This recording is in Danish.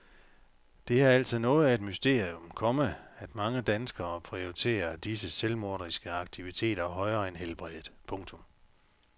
Det er altså noget af et mysterium, komma at mange danskere prioriterer disse selvmorderiske aktiviteter højere end helbredet. punktum